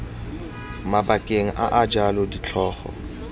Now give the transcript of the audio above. mabakeng a a jalo ditlhogo